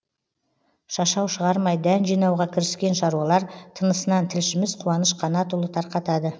шашау шығармай дән жинауға кіріскен шаруалар тынысынан тілшіміз қуаныш қанатұлы тарқатады